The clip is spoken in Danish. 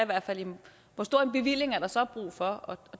hvert fald jamen hvor stor en bevilling er der så brug for